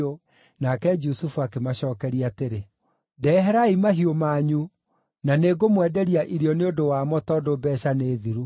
Nake Jusufu akĩmacookeria atĩrĩ, “Ndeherai mahiũ manyu, na nĩngũmwenderia irio nĩ ũndũ wa mo tondũ mbeeca nĩ thiru.”